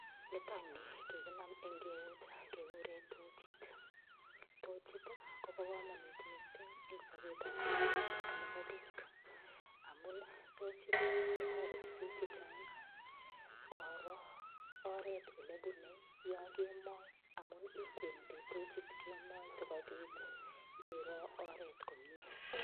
Nitokni kikinam eng' keut kekure tochit tochit kobo komonut mising' eng' sobetab kila betut nebo biik amun tochit kotoreti biik chichang' koro oret ole bunei yo kemoi amun ikwendi tochit kemoi sikobit iro oret komye